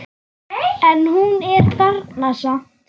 En hún er þarna samt.